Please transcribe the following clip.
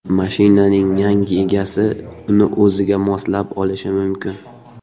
Mashinaning yangi egasi uni o‘ziga moslab olishi mumkin.